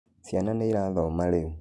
Cĩana nĩĩrathoma rĩũ.